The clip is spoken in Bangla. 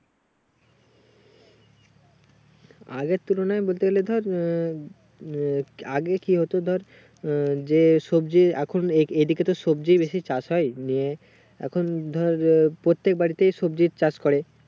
আগের তুলনায় বলতে গেলে ধর উম উম আগে কি হতো ধর উম যে সবজি এখন এদিকেতো সবজি বেশি চাষ হয় নিয়ে এখন ধর এ প্রত্যেক বাড়িতেই সবজির চাষ করে